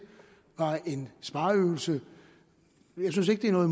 var en spareøvelse jeg synes ikke at